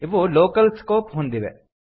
ಇವು local scope ಹೊಂದಿವೆ